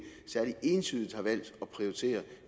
særlig entydigt har valgt at prioritere